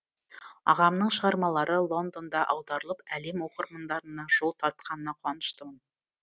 ағамның шығармалары лондонда аударылып әлем оқырмандарына жол тартқанына қуаныштымын